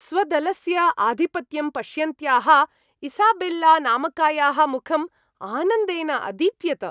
स्वदलस्य आधिपत्यं पश्यन्त्याः इसाबेल्ला नामकायाः मुखम् आनन्देन अदीप्यत।